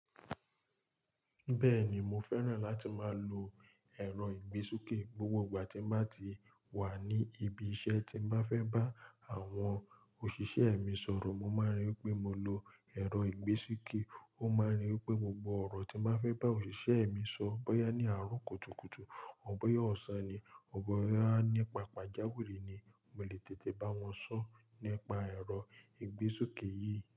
Bẹ́ẹ̀ni, mo fẹ́ràn láti máa lo ẹ̀rọ ìgbésúkè gbogbo ìgbà tí mo bá ti wà ní ibi iṣẹ́ tí mo fẹ́ bá àwọn òṣìṣẹ́ mi sọ̀rọ̀. Mo máa ń rí pé mo lo ẹ̀rọ ìgbésúkè, ó máa ń rí pé gbogbo ọ̀rọ̀ tí mo fẹ́ bá òṣìṣẹ́ mi sọ, bóyá ní àárọ̀ kùtùkùtù, ò bóyá ọ̀sán ni, ò bóyá ní pàpàjáwìrí ni, mo lè tètè bá wọn sọ̀rọ̀ nípa ẹ̀rọ ìgbésúkè yìí.